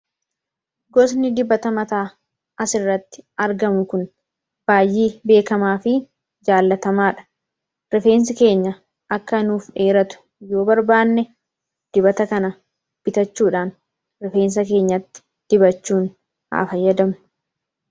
gosni dibata mataa as irratti argamu kun baayyee beekamaa fi jaallatamaa dha rifeensi keenya akka nuuf dheeratu yoo barbaanne dibata kana bitachuudhaan rifeensa keenyatti dibachuun haa fayyadamu.